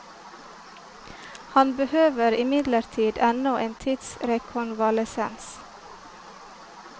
Han behøver imidlertid ennå en tids rekonvalesens.